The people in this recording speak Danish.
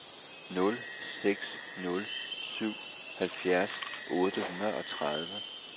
nul seks nul syv halvfjerds otte hundrede og tredive